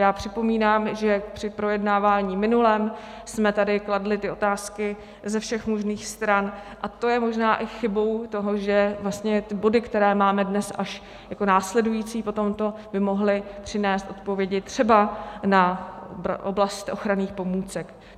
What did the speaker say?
Já připomínám, že při projednávání minulém jsme tady kladli ty otázky ze všech možných stran, a to je možná i chybou toho, že vlastně ty body, které máme dnes až jako následující po tomto, by mohly přinést odpovědi třeba na oblast ochranných pomůcek.